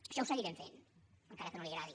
això ho seguirem fent encara que no li agradi